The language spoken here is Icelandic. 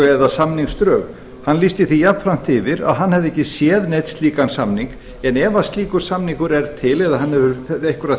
eða samningsdrög hann lýsti því jafnframt yfir að hann hefði ekki séð neinn slíkan samning en ef að slíkur samningur er til eða hann hefur einhverja